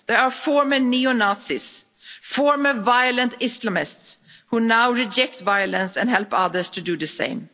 There are former neo Nazis, former violent Islamists who now reject violence and help others to do the